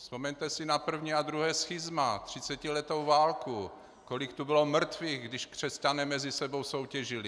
Vzpomeňte si na první a druhé schizma, třicetiletou válku, kolik tu bylo mrtvých, když křesťané mezi sebou soutěžili.